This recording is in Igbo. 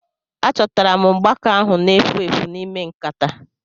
Achọtara m mgbaaka ahu na-efu efu n'ime nkataa